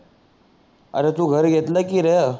अरे तू घर घेतल की र